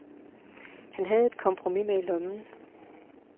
Han havde et kompromis med i lommen.